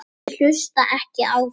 Ég hlusta ekki á þig.